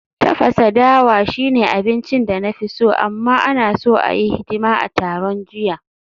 Tafasa dawa shine abincin da na fi so, amma, ana so a yi hidima a taron jiya